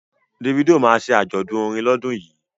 Davido ma ṣe àjọ̀dún orin lọ́dún yìí